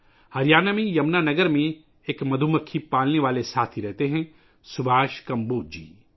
ہریانہ میں، یمنا نگر میں، شہد کی مکھیاں پالنے والے ایک ساتھی رہتے ہیں سبھاش کمبوج جی